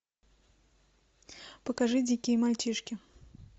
покажи дикие мальчишки